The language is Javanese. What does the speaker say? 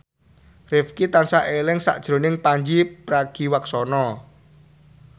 Rifqi tansah eling sakjroning Pandji Pragiwaksono